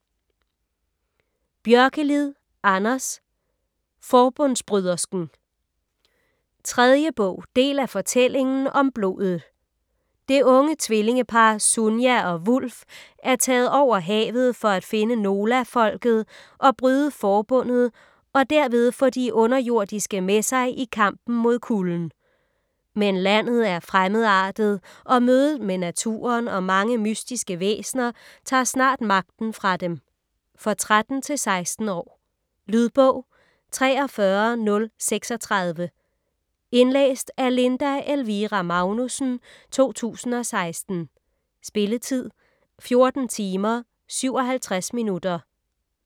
Björkelid, Anders: Forbundsbrydersken 3. bog. del af Fortællingen om blodet. Det unge tvillingepar, Sunia og Wulf er taget over havet for at finde Nolafolket og bryde Forbundet og derved få de Underjordiske med sig i kampen mod Kulden. Men landet er fremmedartet, og mødet med naturen og mange mystiske væsener tager snart magten fra dem. For 13-16 år. Lydbog 43036 Indlæst af Linda Elvira Magnussen, 2016. Spilletid: 14 timer, 57 minutter.